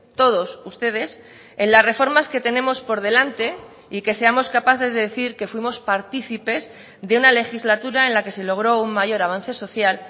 todos ustedes en las reformas que tenemos por delante y que seamos capaces de decir que fuimos partícipes de una legislatura en la que se logró un mayor avance social